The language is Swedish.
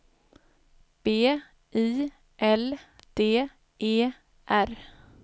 B I L D E R